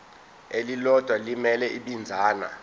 elilodwa elimele ibinzana